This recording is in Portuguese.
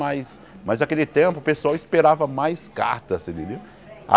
Mas mas naquele tempo o pessoal esperava mais carta. Você entendeu